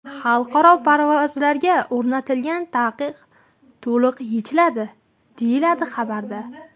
Xalqaro parvozlarga o‘rnatilgan taqiq to‘liq yechiladi”, deyiladi xabarda.